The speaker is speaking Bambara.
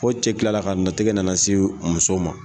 Fo cɛ kilala ka na tɛgɛ nana se musow ma.